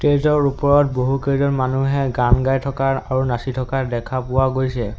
Stage ৰ ওপৰত বহুকেইজন মানুহে গান গাই থকা আৰু নাচি থকা দেখা পোৱা গৈছে।